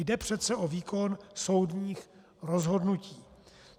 Jde přece o výkon soudních rozhodnutí.